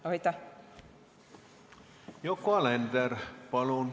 Yoko Alender, palun!